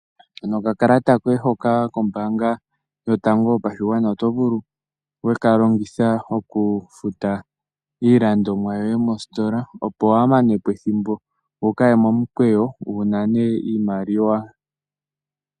Okakalata koye hono kombaanga yotango yopashigwana, oto vulu weka longitha okufuta iilandithomwa yoye mositola, opo waamanepo ethimbo wukaye momukweyo, wunane iimaliwa.